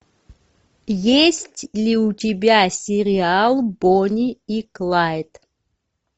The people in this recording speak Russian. есть ли у тебя сериал бонни и клайд